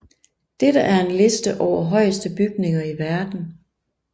Dette er en Liste over højeste bygninger i verden